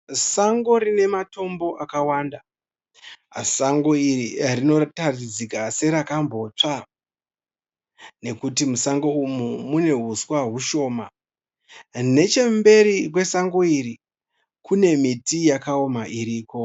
Sango rine matombo akawanda. Sango iri ririkutaridzika serakambotsva nekuti musango umu mune huswa hushoma. Nechekumberi kwasango iri kune miti yakaoma iriko.